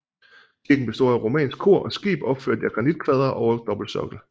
Kirken består af romansk Kor og skib opført af granitkvadre over dobbeltsokkel